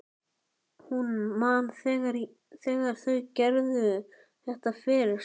Hún man þegar þau gerðu þetta fyrst.